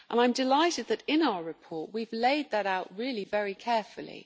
I am delighted that in our report we have laid that out really very carefully.